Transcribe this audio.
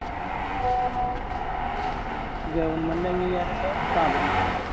government അംഗീകാരമുള്ള സ്ഥാപനമാണത്